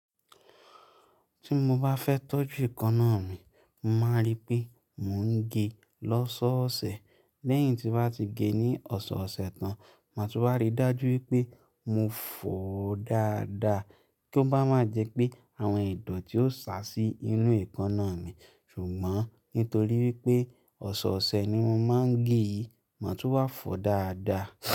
Tí mo bá fẹ́ tọ́jú èékánná mi, mo man rí pé mò ń gé ẹ lọ́sọ̀ọ̀sẹ̀. Lẹ́yìn tí bá ti gé ẹ ní ọ̀sọ̀ọ̀sẹ̀ tán, màá tún wá ri dájú wípé mo fọ̀ ọ́ dáadáa kí ó bá má jẹ pé àwọn ìdọ̀tí ó sa sí inú èékánná mi. Ṣùgbọ́n nítorí wípé ọ̀sọ̀ọ̀sẹ̀ ni mò ma ń gé e, màá tún wá fọ̀ ọ́ dáadáa.